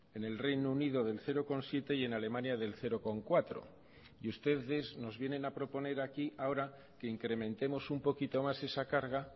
en el reino unido del cero coma siete y en alemania del cero coma cuatro y ustedes nos vienen a proponer aquí ahora que incrementemos un poquito más esa carga